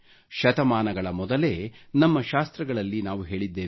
ಶತಮಾನಗಳ ಮೊದಲೇ ನಮ್ಮ ಶಾಸ್ತ್ರಗಳಲ್ಲಿ ನಾವು ಹೇಳಿದ್ದೇವೆ